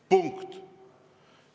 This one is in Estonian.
Punkt.